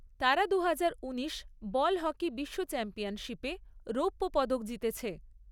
তারা দুহাজার উনিশ বল হকি বিশ্ব চ্যাম্পিয়নশিপে রৌপ্য পদক জিতেছে।